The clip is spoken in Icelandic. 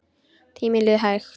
Tíminn líður hægt.